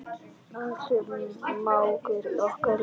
Axel mágur okkar er látinn.